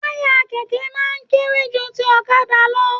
Taya kẹkẹ máa n kéré jù tí ọ̀kàdà lọ